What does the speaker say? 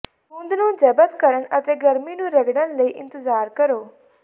ਗੂੰਦ ਨੂੰ ਜ਼ਬਤ ਕਰਨ ਅਤੇ ਗਰਮੀ ਨੂੰ ਰਗੜਣ ਲਈ ਇੰਤਜ਼ਾਰ ਕਰੋ